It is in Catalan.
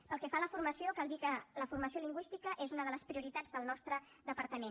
pel que fa a la formació cal dir que la formació lingüística és una de les prioritats del nostre departament